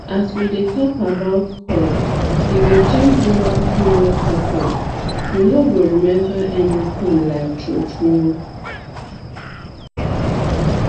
as we dey talk about coil e go change woman period patternu no go remember anything like true true